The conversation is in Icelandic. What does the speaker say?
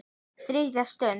ÞRIÐJA STUND